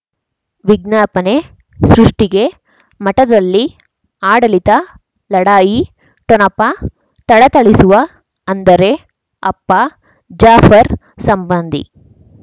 ವಿಜ್ಞಾಪನೆ ಸೃಷ್ಟಿಗೆ ಮಠದಲ್ಲಿ ಆಡಳಿತ ಲಢಾಯಿ ಠೊಣಪ ಥಳಥಳಿಸುವ ಅಂದರೆ ಅಪ್ಪ ಜಾಫರ್ ಸಂಬಂಧಿ